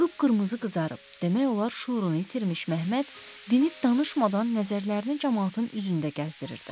Qıpqırmızı qızarıb, demək olar şüurunu itirmiş Məhəmməd dinib danışmadan nəzərlərini camaatın üzündə gəzdirirdi.